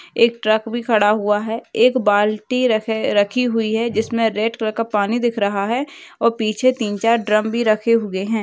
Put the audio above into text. एक ट्रक भी खड़ा हुआ है एक बाल्टी रखे रखी हुई है जिमसे रेड कलर का पनि दिख रहा है और पीछे तीन चार ड्रम भी रखे हुए है।